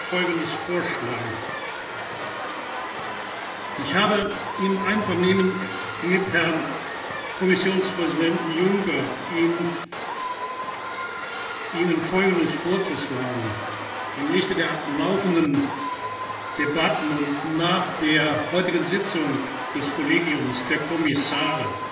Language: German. Folgendes vorschlagen Mittwoch Ich habe Ihnen im Einvernehmen mit Herrn Kommissionspräsidenten Juncker Folgendes vorzuschlagen Im Lichte der laufenden Debatten und nach der heutigen Sitzung des Kollegiums der Kommissare